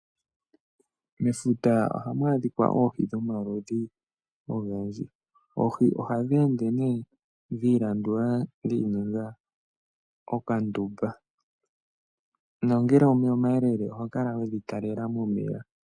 Mefuta oha mu adhikwa oohi dhomaludhi ogendji. Oohi oha dhi ende ne dhilandula dhininga okandumba. Nongele omeya omayelele oho kala we dhi talela momeya.